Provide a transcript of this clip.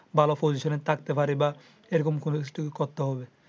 ভালো position থাকতে পারি বা এরকম কোনো